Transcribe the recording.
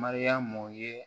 Mariyamu ye